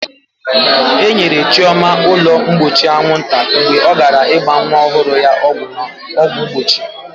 E nyere Chioma ụlọ mgbochi anwụnta mgbe ọ gara ịgba nwa ọhụrụ ya ọgwụ mgbochi.